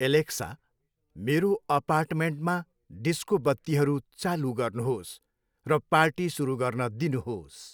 Alexa, मेरो अपार्टमेन्टमा disco बत्तीहरू चालु गर्नुहोस् र पार्टी सुरु गर्न दिनुहोस्।